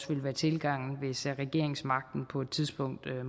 vil være tilgangen hvis regeringsmagten på et tidspunkt